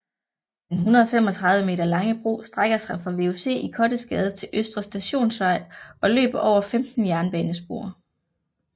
Den 135 meter lange bro strækker sig fra VUC i Kottesgade til Østre Stationsvej og løber over 15 jernbanespor